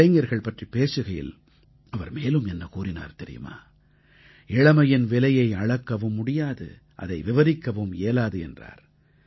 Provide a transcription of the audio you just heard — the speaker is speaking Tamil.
இளைஞர்கள் பற்றிப் பேசுகையில் அவர் மேலும் என்ன கூறினார் தெரியுமா இளமையின் விலையை அளக்கவும் முடியாது அதை விவரிக்கவும் இயலாது என்றார்